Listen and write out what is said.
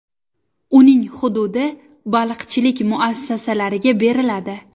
Uning hududi baliqchilik muassasalariga beriladi.